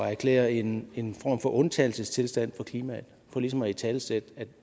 erklære en en form for undtagelsestilstand for klimaet for ligesom at italesætte at